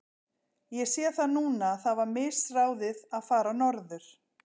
Ég sé það núna að það var misráðið að fara norður.